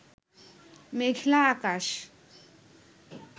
মেঘলা আকাশ